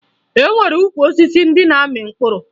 E nwere ukwu osisi ndị na-amị mkpụrụ